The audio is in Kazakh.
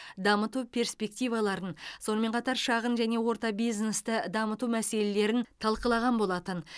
дамыту перспективаларын сонымен қатар шағын және орта бизнесті дамыту мәселелерін талқылаған болатын